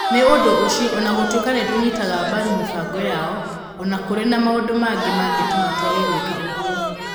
Nĩ ũndũ ũcio, o na gũtuĩka nĩ tũnyitaga mbaru mĩbango yao, o na kũrĩ na maũndũ mangĩ mangĩtũma twage gwĩka ũguo".